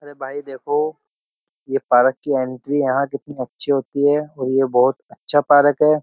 भाई देखो ये पार्क की एंट्री यहां कितनी अच्छी होती है और ये बहुत अच्छा पार्क है।